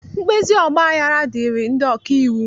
mkpezi ọgbaghara dịịrị ndị ọka iwu.